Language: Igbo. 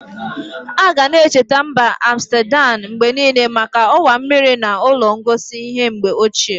Aga-na echeta mba Amstedam mgbe niile maka ọwa mmiri na ụlọ ngosi ihe mgbe ochie.